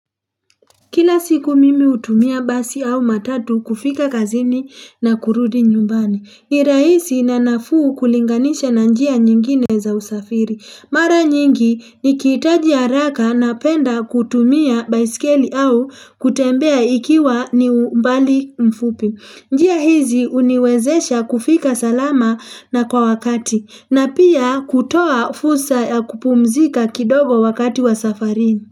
Kila siku mimi hutumia basi au matatu kufika kazini na kurudi nyumbani. Ni rahisi na nafuu kulinganisha na njia nyingine za usafiri. Mara nyingi nikihitaji haraka napenda kutumia baiskeli au kutembea ikiwa ni umbali mfupi. Njia hizi huniwezesha kufika salama na kwa wakati na pia kutoa fursa ya kupumzika kidogo wakati wa safari.